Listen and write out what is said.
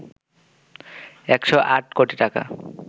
১০৮ কোটি টাকা